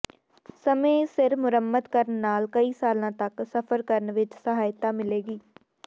ਸਮੇਂ ਸਿਰ ਮੁਰੰਮਤ ਕਰਨ ਨਾਲ ਕਈ ਸਾਲਾਂ ਤਕ ਸਫ਼ਰ ਕਰਨ ਵਿਚ ਸਹਾਇਤਾ ਮਿਲੇਗੀ